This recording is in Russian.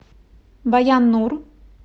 баян нур